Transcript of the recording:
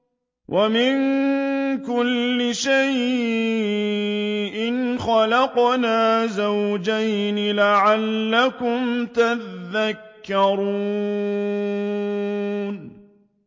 وَمِن كُلِّ شَيْءٍ خَلَقْنَا زَوْجَيْنِ لَعَلَّكُمْ تَذَكَّرُونَ